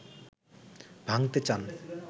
ভাঙ্গতে চান